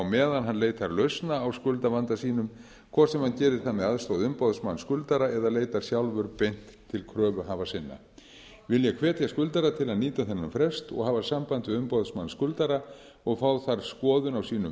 meðan hann leitar lausna á skuldavanda sínum hvort sem hann gerir það með aðstoð umboðsmanns skuldara eða leitar sjálfur beint til kröfuhafa sinna vil ég hvetja skuldara til að nýta þennan frest og hafa samband við umboðsmann skuldara og fá þar skoðun á sínum